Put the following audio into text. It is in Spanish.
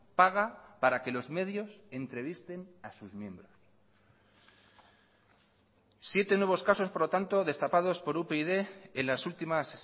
paga para que los medios entrevisten a sus miembros siete nuevos casos por lo tanto destapados por upyd en las últimas